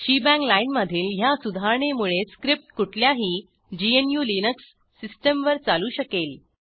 shebang लाईनमधील ह्या सुधारणेमुळे स्क्रिप्ट कुठल्याही gnuलिनक्स सिस्टीमवर चालू शकेल